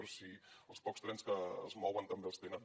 però si els pocs trens que es mouen també els tenen